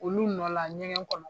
Olu nɔla ɲɛgɛn kɔnɔ.